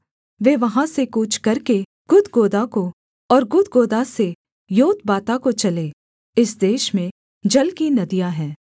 वे वहाँ से कूच करके गुदगोदा को और गुदगोदा से योतबाता को चले इस देश में जल की नदियाँ हैं